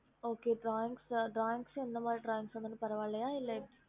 dora